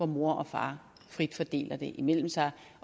mor og far frit fordeler den imellem sig